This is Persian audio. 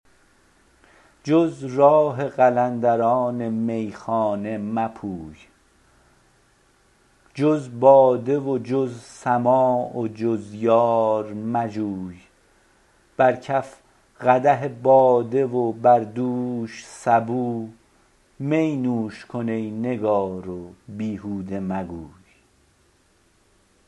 جز راه قلندران میخانه مپوی جز باده و جز سماع و جز یار مجوی بر کف قدح باده و بر دوش سبو می نوش کن ای نگار و بیهوده مگوی